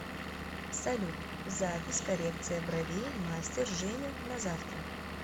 салют запись коррекция бровей мастер женя на завтра